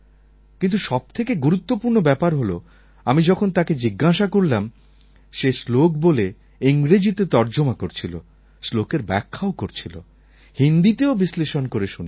কিন্তু সব থেকে গুরুত্বপূর্ণ ব্যাপার হল আমি যখন তাকে জিজ্ঞাসা করলাম সে শ্লোক বলে ইংরেজিতে তর্জমা করছিল শ্লোকের ব্যাখ্যাও করছিল হিন্দিতেও বিশ্লেষণ করে শুনিয়েছিল